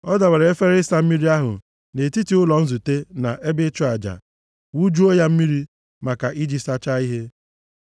Ọ dọbara efere ịsa mmiri ahụ nʼetiti ụlọ nzute na ebe ịchụ aja, wụjuo ya mmiri, maka iji sachaa ihe.